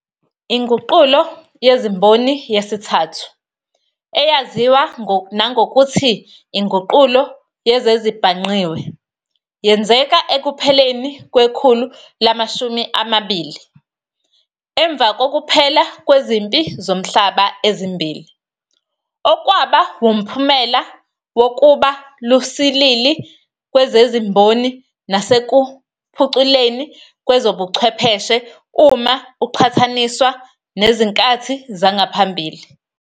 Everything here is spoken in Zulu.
INguqulo yeziMboni yesithathu, eyaziwa nangokuthi INguqulo yezezibhangqiwe, yenzeka ekupheleni kwekhulu lama-20, emva kokuphela kwezimpi zomhlaba ezimbili, okwaba womphumela wokuba lusilili kwezezimboni nasekuphuculeni kwezobuchwepheshe uma uqhathaniswa nezinkathi zangaphambili.